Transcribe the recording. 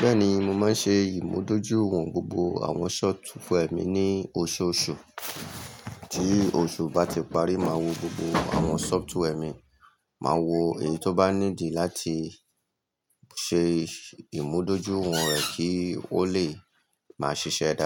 Bẹ́ẹ̀ni, mo máa ń ṣe ìmúdójúìwọ̀n gbogbo àwọn sọfituwwẹ́rì mi ní oṣooṣù. Tí oṣù bá ti parí, máa wo gbogbo àwọn software mi, máa wo èyí tó bá ní dì láti ṣe ìmúdójúìwọ̀n rẹ̀ kí wọ́n lè máa ṣiṣẹ́ dáadáa.